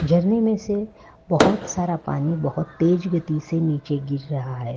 झरने में से बहोत सारा पानी बोहोत तेज गति से नीचे गिर रहा है।